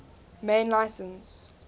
main license